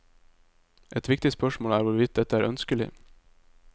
Et viktig spørsmål er hvorvidt dette er ønskelig.